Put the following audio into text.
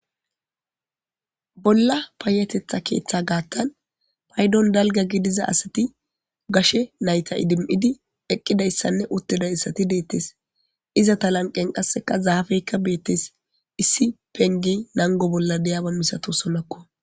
Bolla payatetha keththa gaththan payidon dalgga giddiza asayi gashe nayita edimmidi eqqidayisanne uttidayissati dettes izeta lanqqen qaseka zaffeyikka bettes issi pengge nanggo bolla diyabba massatosonakko.